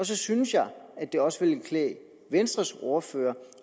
så synes jeg at det også ville klæde venstres ordfører